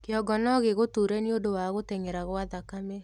Kĩongo nogĩgũture nĩũndũ wa gũteng'era kwa thakame